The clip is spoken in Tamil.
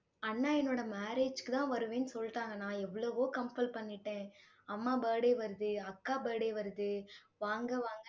அண்ணா, என்னோட marriage க்குதான் வருவேன்னு சொல்லிட்டாங்க. நான் எவ்வளவோ compel பண்ணிட்டேன். அம்மா birthday வருது அக்கா birthday வருது வாங்க வாங்க